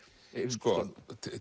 sko